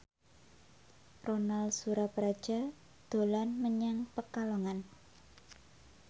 Ronal Surapradja dolan menyang Pekalongan